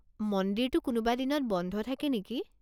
মন্দিৰটো কোনোবা দিনত বন্ধ থাকে নেকি?